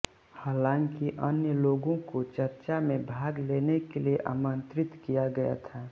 हालाँकि अन्य लोगों को चर्चा में भाग लेने के लिए आमंत्रित किया गया था